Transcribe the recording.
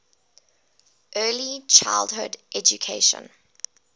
early childhood education